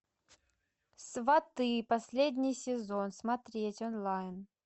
сваты последний сезон смотреть онлайн